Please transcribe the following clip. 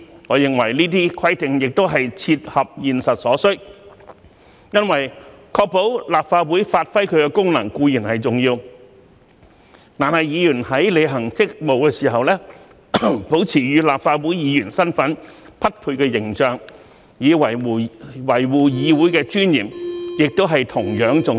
我認為這些規定也是切合現實所需，因為確保立法會發揮其功能固然重要，但議員在履行職務時，保持與立法會議員身份匹配的形象，以維護議會的尊嚴，亦同樣重要。